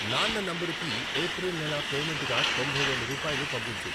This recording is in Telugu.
నాన్న నంబరుకి ఏప్రిల్ నెల పేమెంటుగా తొంభై వేలు రూపాయలు పంపించు.